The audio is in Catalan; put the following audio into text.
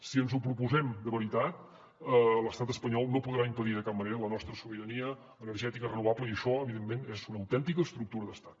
si ens ho proposem de veritat l’estat espanyol no podrà impedir de cap manera la nostra sobirania energètica renovable i això evidentment és una autèntica estructura d’estat